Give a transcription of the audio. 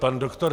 Pan doktor